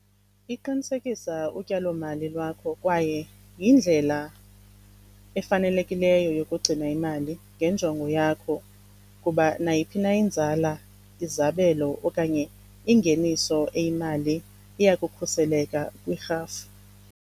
Iqinisekisa utyalomali lwakho kwaye yindlela efanelekileyo yokugcina imali ngenjongo yakho ukuba nayiphina inzala, izabelo okanye ingeniso eyimali iya kukhuseleka kwirhafu.